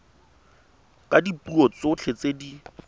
ka dipuo tsotlhe tse di